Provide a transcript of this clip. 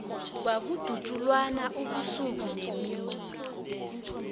kwakudutjulwana ubusuku nemini